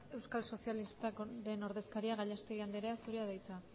euskal sozialistaken ordezkaria den gallastegui andrea zurea da hitza